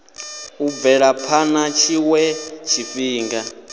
u bvela phana tshiwe tshifhinga